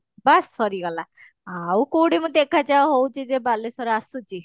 ବାସ୍ ସରିଗଲା ଆଉ କଉଠି ମୁଁ ଦେଖା ଚାହାଁ ହଉଛି ଯେ ବାଲେଶ୍ଵର ଆସୁଛି